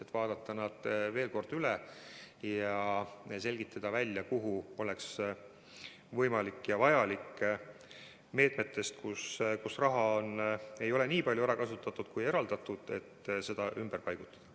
Tuleb vaadata need meetmed veel kord üle ja selgitada välja, kuhu oleks võimalik ja vajalik meetmetest, mille raha ei ole nii palju ära kasutatud, kui oli eraldatud, raha ümber paigutada.